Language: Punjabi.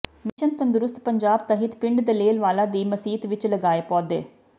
ਮਿਸ਼ਨ ਤੰਦਰੁਸਤ ਪੰਜਾਬ ਤਹਿਤ ਪਿੰਡ ਦਲੇਲ ਵਾਲਾ ਦੀ ਮਸੀਤ ਵਿੱਚ ਲਗਾਏ ਪੌਦੇ